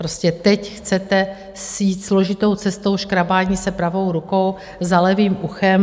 Prostě teď chcete jít složitou cestou škrábání se pravou rukou za levým uchem.